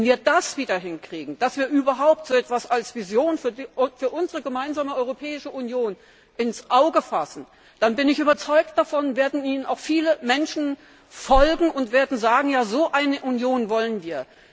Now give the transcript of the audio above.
Wenn wir das wieder hinkriegen, dass wir überhaupt so etwas als Vision für unsere gemeinsame Europäische Union ins Auge fassen, dann, bin ich überzeugt, werden uns auch viele Menschen folgen und werden sagen Ja, so eine Union wollen wir.